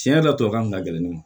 Tiɲɛ yɛrɛ tɔ kan ka gɛlɛn ne ma